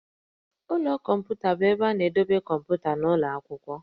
Ụlọ kọmputa bụ ebe a na-edebe kọmputa n'ụlọ akwụkwọ